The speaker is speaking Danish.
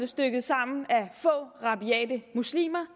stykket sammen af få rabiate muslimer